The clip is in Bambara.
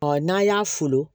n'a y'a folo